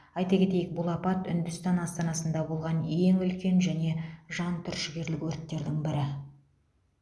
айта кетейік бұл апат үндістан астанасында болған ең үлкен және жан түршігерлік өрттердің бірі